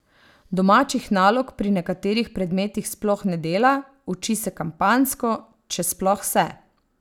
Domačih nalog pri nekaterih predmetih sploh ne dela, uči se kampanjsko, če sploh se.